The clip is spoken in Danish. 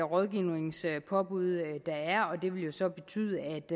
rådgivningspåbud og det vil jo så betyde